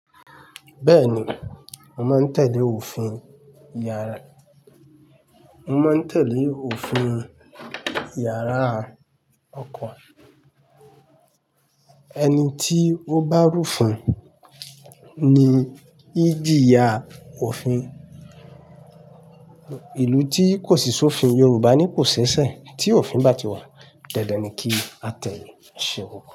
Bẹ́ẹ̀ni, mo máa ń tẹ̀lé òfin yàrá. Mo máa ń tẹ̀lé òfin yàrá ọkọ. Ẹni tí ó bá rúfún ni í jìyà òfin. Ìlú tí kò sí sòfin, Yorùbá ní kò ṣẹ̀ṣẹ̀. Tí òfin bá ti wà, dandan ni kí á tẹ̀lé. Ṣe pupọ?